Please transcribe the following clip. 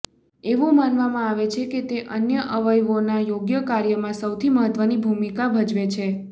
એવું માનવામાં આવે છે કે તે અન્ય અવયવોના યોગ્ય કાર્યમાં સૌથી મહત્વની ભૂમિકા ભજવે છે